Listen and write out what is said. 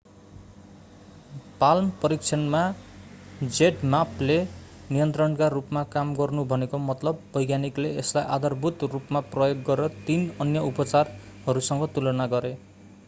palm परीक्षणमा zmappले नियन्त्रणका रूपमा काम गर्नु भनेको मतलब वैज्ञानिकले यसलाई आधारभूत रूपमा प्रयोग गरेर तीन अन्य उपचारहरूसँग तुलना गरे।